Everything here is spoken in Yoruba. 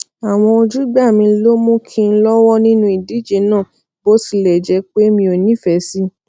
àwọn ojúgbà mi ló mú kí n lówó nínú ìdíje náà bó tilè jé pé mi ò nífèé sí i